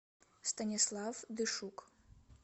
станислав дышук